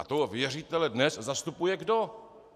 A toho věřitele dnes zastupuje kdo?